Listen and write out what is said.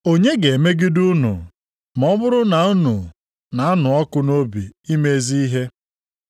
Onye ga-emegide unu ma ọ bụrụ na unu na-anụ ọkụ nʼobi ime ezi ihe?